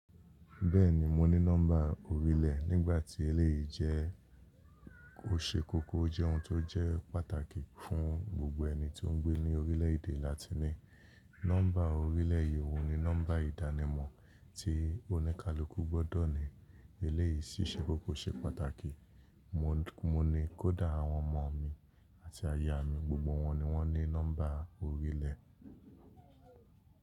Bẹ́ẹ̀ni mo ní nọ́mbà orílẹ̀ nígbà tí eléyìí jẹ́. Ó ṣe kókó jẹ́ ohun tó jẹ́ pàtàkì fún gbogbo ẹni tó ń gbé ní orílẹ̀ èdè láti ní nọ́mbà orílẹ̀ yii. Óhun ní nọ́mbà ìdánimọ̀ tí oníkálukú gbọ́dọ̀ ní. Eléyìí sì ṣe kókó ṣe pàtàkì. Mo ní kó dá àwọn ọmọ mi àti aya mi, gbogbo wọn ni wọ́n ní nọ́mbà orílẹ̀.